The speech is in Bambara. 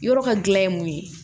Yɔrɔ ka gilan ye mun ye